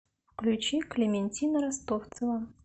включи клементина ростовцева